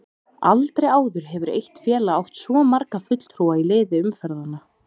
Aldrei áður hefur eitt félag átt svo marga fulltrúa í liði umferðanna.